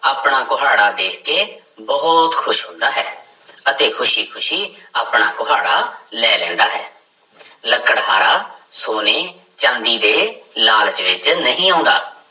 ਆਪਣਾ ਕੁਹਾੜਾ ਦੇਖ ਕੇ ਬਹੁਤ ਖ਼ੁਸ਼ ਹੁੰਦਾ ਹੈ ਅਤੇ ਖ਼ੁਸ਼ੀ ਖ਼ੁਸ਼ੀ ਆਪਣਾ ਕੁਹਾੜਾ ਲੈ ਲੈਂਦਾ ਹੈ ਲੱਕੜਹਾਰਾ ਸੋਨੇ ਚਾਂਦੀ ਦੇ ਲਾਲਚ ਵਿੱਚ ਨਹੀਂ ਆਉਂਦਾ।